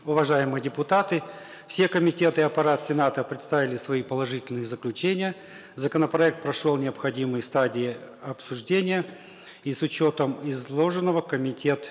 уважаемые депутаты все комитеты аппарата сената предоставили свои положительные заключения законопроект прошел необходимые стадии обсуждения и с учетом изложенного комитет